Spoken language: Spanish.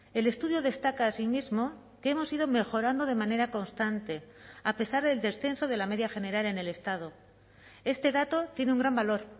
el estudio destaca asimismo que hemos ido mejorando de manera constante a pesar del descenso de la media general en el estado este dato tiene un gran valor